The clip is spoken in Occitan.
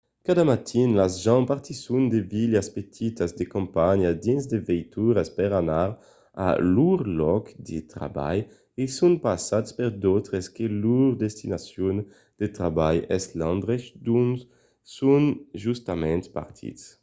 cada matin las gents partisson de vilas petitas de campanha dins de veituras per anar a lor lòc de trabalh e son passats per d’autres que lor destinacion de trabalh es l'endrech d'ont son justament partits